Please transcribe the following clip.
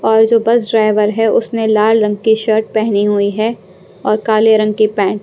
और जो bus driver है उसने लाल रंग की शर्ट पहनी हुई है और काले रंग की पैंट --